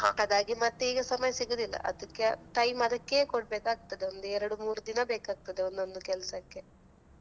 ಅದಾಗಿ ಮತ್ತೆ ಈಗ ಸಮಯ ಸಿಗುದಿಲ್ಲ ಅದಕ್ಕೆ time ಅದಕ್ಕೇ ಕೊಡ್ಬೇಕಾಗ್ತದೆ ಒಂದು ಎರಡು ಮೂರು ದಿನ ಬೇಕಾಗ್ತದೆ ಒಂದೊಂದು ಕೆಲ್ಸಕ್ಕೆ.